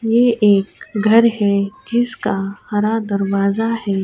یہ ایک گھر ہے، جسکا ہرا دروازہ ہے۔